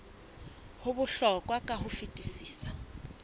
ho bohlokwa ka ho fetisisa